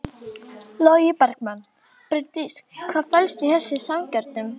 Logi Bergmann: Bryndís hvað felst í þessum samningum?